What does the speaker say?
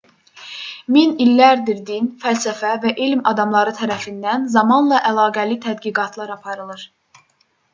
min illərdir din fəlsəfə və elm adamları tərəfindən zamanla əlaqəli tədqiqatlar aparılır